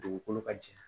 Dugukolo ka jɛ